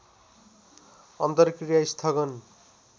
अन्तक्रिया स्थगन